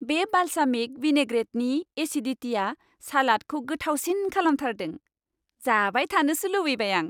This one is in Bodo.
बे बालसामिक विनैग्रेटनि एसिदिटिआ सालादखौ गोथावसिन खालामथारदों, जाबाय थानोसो लुबैबाय आं।